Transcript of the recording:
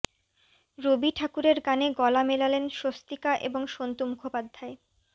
রবি ঠাকুরের গানে গলা মেলালেন স্বস্তিকা এবং সন্তু মুখোপাধ্যায়